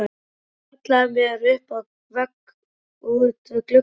Ég hallaði mér upp að vegg út við glugga.